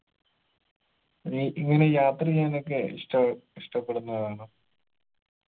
ഇനി ഇങ്ങളീ യാത്ര ചെയ്യാനൊക്ക ഇഷ്ട ഇഷ്ടപ്പെടുന്ന ആളാണോ